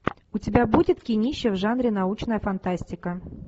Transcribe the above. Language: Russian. у тебя будет кинище в жанре научная фантастика